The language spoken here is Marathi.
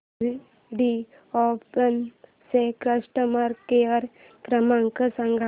व्हिडिओकॉन चा कस्टमर केअर क्रमांक सांगा